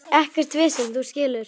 Ekkert vesen, þú skilur.